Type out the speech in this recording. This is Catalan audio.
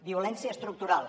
violència estructural